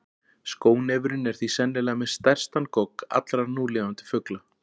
Skónefurinn er því sennilega með stærstan gogg allra núlifandi fugla.